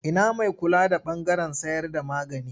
Ina mai kula da ɓangaren sayarda magani?